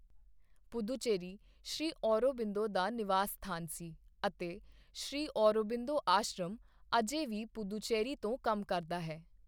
ਪੁਦੂਚੇਰੀ ਸ਼੍ਰੀ ਔਰੋਬਿੰਦੋ ਦਾ ਨਿਵਾਸ ਸਥਾਨ ਸੀ ਅਤੇ ਸ਼੍ਰੀ ਔਰੋਬਿੰਦੋ ਆਸ਼ਰਮ ਅਜੇ ਵੀ ਪੁਦੂਚੇਰੀ ਤੋਂ ਕੰਮ ਕਰਦਾ ਹੈ।